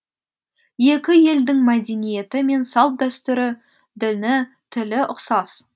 екі елдің мәдениеті мен салт дәстүрі діні тілі ұқсас